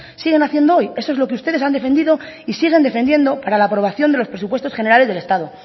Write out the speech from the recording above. siguen haciendo hoy eso es lo que ustedes han defendido y siguen defendiendo para la aprobación de los presupuestos generales del estado